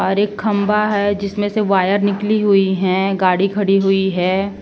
और एक खंभा है जिसमें से वायर निकली हुई है। गाड़ी खड़ी हुई है।